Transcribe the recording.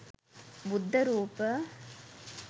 බුද්ධ රූප,